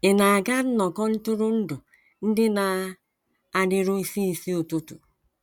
Ị̀ na - aga nnọkọ ntụrụndụ ndị na - adịru isi isi ụtụtụ?